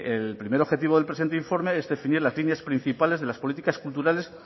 el primer objetivo del presente informe es definir las líneas principales de las políticas culturales